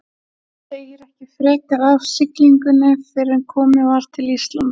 Segir ekki frekar af siglingunni fyrren komið var til Íslands.